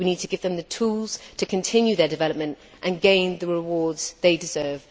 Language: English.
We need to give them the tools to continue their development and gain the rewards they deserve.